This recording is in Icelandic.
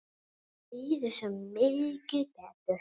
Mér líður svo mikið betur.